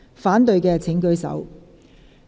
反對的請舉手。